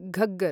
Ghaggar